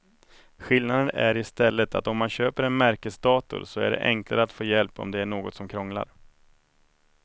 Skillnaden är i stället att om man köper en märkesdator så är det enklare att få hjälp om det är något som krånglar.